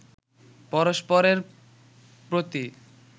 পরস্পরেরর প্রতি